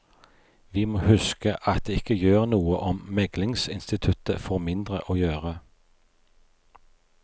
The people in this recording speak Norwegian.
Vi må huske at det ikke gjør noe om meglingsinstituttet får mindre å gjøre.